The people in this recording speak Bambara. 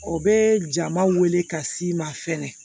O bɛ jama wele ka s'i ma fɛnɛ